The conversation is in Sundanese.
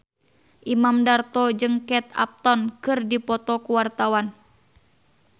Imam Darto jeung Kate Upton keur dipoto ku wartawan